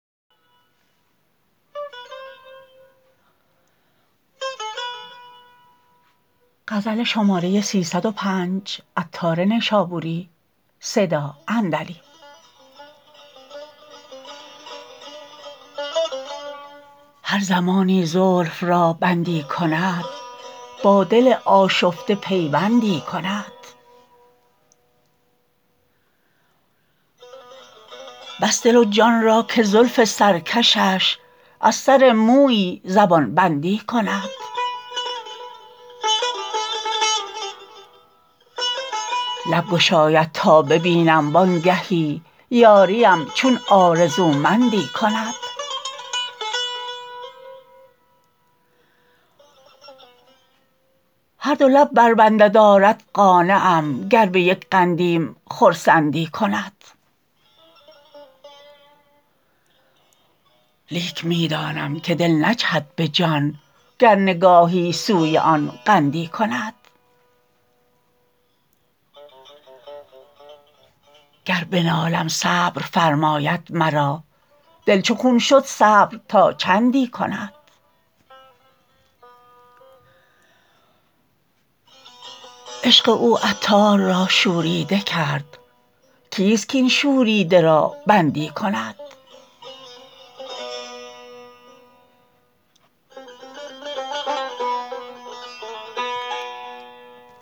هر زمانی زلف را بندی کند با دل آشفته پیوندی کند بس دل و جان را که زلف سرکشش از سر مویی زبان بندی کند لب گشایدتا ببینم وانگهی یاریم چون آرزومندی کند هر دو لب بربندد آرد قانعم گر به یک قندیم خرسندی کند لیک می دانم که دل نجهد به جان گر نگاهی سوی آن قندی کند گر بنالم صبر فرماید مرا دل چو خون شد صبر تا چندی کند عشق او عطار را شوریده کرد کیست کین شوریده را بندی کند